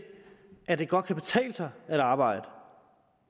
at det godt kan betale sig at arbejde og